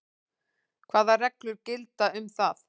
Hvað reglur gilda um það?